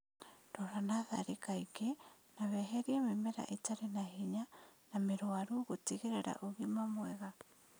Rora natharĩ kaingĩ na weherie mĩmera ĩtarĩ na hinya na mĩrwaru gũtigĩrĩra ũgima mwega